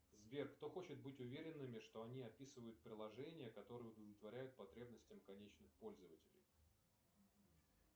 сбер кто хочет быть уверенными что они описывают приложение которое удовлетворяет потребностям конечных пользователей